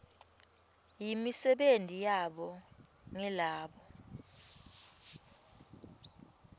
yimisebenti yabo ngilabo